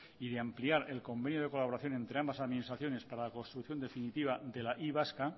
y de ampliar el convenio de colaboración entre ambas administraciones para la construcción definitiva de la y vasca